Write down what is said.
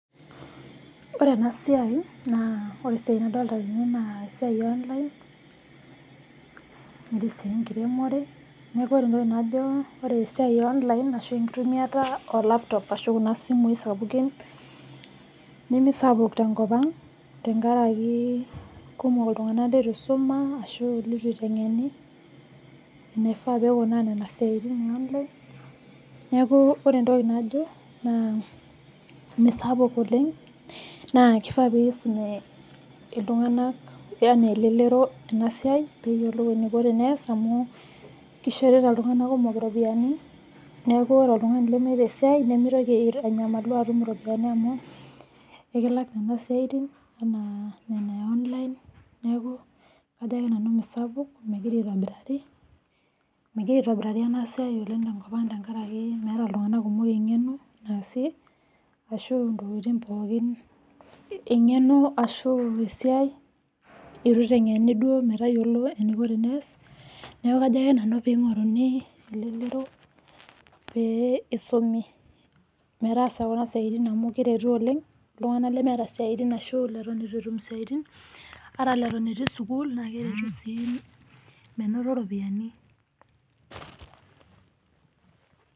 Ore ena siai naa ,ore esiai nadolita tene naa esiai e online netii enkiremore ajo ore esiai e online arashu enkiremore e laputop ashu kuna simui sapukin nemesapuk te nkopang tengaraki ekumok iltungana leitu eisuma ashu leitu eiteng'eni eneifaa teneikunaa nena siatin e online neaku ore entoki najo naa mesapuk oleng naa keifaa peisumie iltunganak, yaani ilelero ena siai peeyiolou eneiko teneyaas amu keishorita iltungana kumok iropiyiani, neaku ore oltungani lemeeta esiai nemeitoki anyamalu atum iropiyiani amuu ikilak nena siatin enaa nena e Online neaku kajo ake nanu mesapuk, megira aitobirari. Megira aitobirari ena esiai oleng te nkopang tengaraki meeta iltunganak kumok ing'eno sii ashu intokitin pookin ing'eno ashu esiai ,eitu eiteng'eni duo metayolo eneiko teneyaas nekau kajo ake nanu peyie eing'oruni ilelero pee eisumie metaasa kuna siaitin amu eretisho oleng iltungana lemeeta siatin ashu leton eitu etum siatin, ata leton etii sukuul naa keretu sii menoto iropiyiani.